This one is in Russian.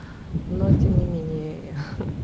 но тем не менее ха